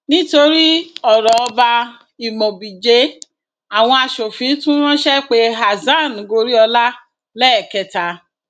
lórí ọrọ ọba imobiije àwọn asòfin tún ránṣẹ pe hasan goriola lẹẹkẹta